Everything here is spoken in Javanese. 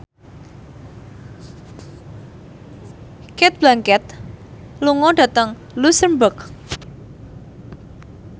Cate Blanchett lunga dhateng luxemburg